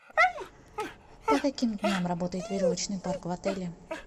по каким дням работает веревочный парк в отеле